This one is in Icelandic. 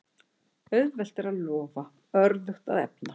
Auðvelt er að lofa, örðugt að efna.